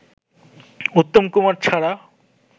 উত্তম কুমার ছাড়া